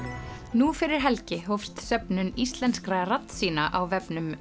nú fyrir helgi hófst söfnun íslenskra raddsýna á vefnum